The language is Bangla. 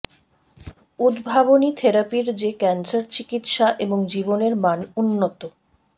উদ্ভাবনী থেরাপির যে ক্যান্সার চিকিত্সা এবং জীবনের মান উন্নত